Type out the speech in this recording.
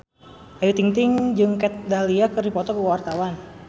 Ayu Ting-ting jeung Kat Dahlia keur dipoto ku wartawan